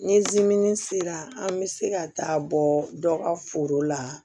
Ni sera an bɛ se ka taa bɔ dɔ ka foro la